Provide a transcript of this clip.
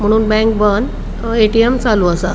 म्हणून बँक बंद अ ए.टी.एम चालू आसा.